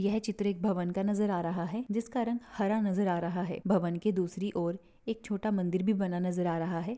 यह चित्र एक भवन का नजर आ रहा है जिसका रंग हरा नजर आ रहा है भवन के दूसरी ओर एक छोटा मंदिर भी बना नजर आ रहा है।